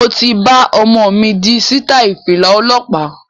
Mo ti bá omo mi di sitai Fìlà ọlọ́pa